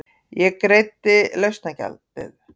Ég greiddi lausnargjaldið.